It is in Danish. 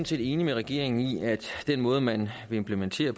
set enige med regeringen i at den måde man vil implementere